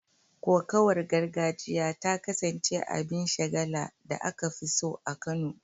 Kokawar gargajiya ta kasance abin shagala da aka fi so a Kano